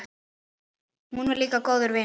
Hún var líka góður vinur.